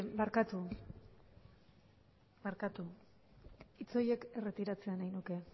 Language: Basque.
barkatu eh barkatu hitz horiek erretiratzea nahi nuke